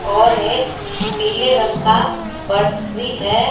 और एक पीले रंग का बस भी है।